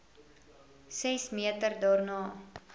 ses meter daarna